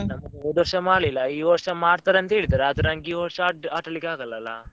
ನಮ್ಮದು ಹೋದ್ ವರ್ಷ ಮಾಡ್ಲಿಲ್ಲ, ಈ ವರ್ಷ ಮಾಡ್ತಾರೆ ಅಂತ ಹೇಳಿದಾರೆ ಆದ್ರೆ ನಂಗೆ ಈ ವರ್ಷ ಆ~ ಆಟ ಆಡ್ಲಿಕ್ಕೆ ಆಗಲ್ಲ ಅಲ್ಲ.